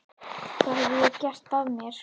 Hvað hef ég gert af mér?